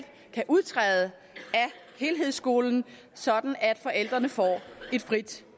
kan udtræde af helhedsskolen sådan at forældrene får et frit